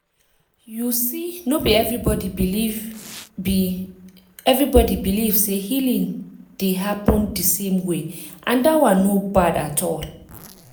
you see no be everybody believe be everybody believe say healing dey happen the same way and that one no bad at all.